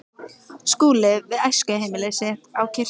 Skúli við æskuheimili sitt á Kirkjubóli.